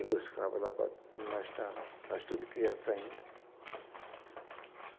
Ia buscava lá para onde nós estávamos, nós tudo criança ainda.